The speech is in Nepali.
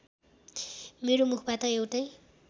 मेरो मुखबाट एउटै